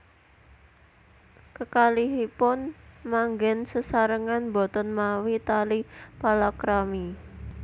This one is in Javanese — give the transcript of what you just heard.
Kekalihipun manggen sesarengan boten mawi tali palakrami